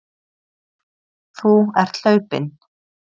Þú ert hlaupinn.